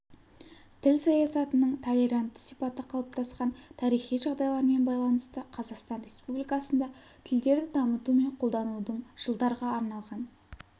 тіл саясатының толерантты сипаты қалыптасқан тарихи жағдайлармен байланысты қазақстан республикасында тілдерді дамыту мен қолданудың жылдарға арналған